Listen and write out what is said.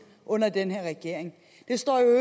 under den her regering det står jo